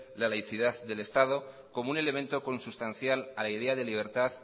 la laicidad del estado como un elemento consustancial a la idea de libertad